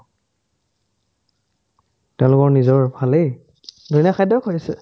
তেওঁলোকৰ নিজৰ ভালেই খাদ্যও খোৱাইছে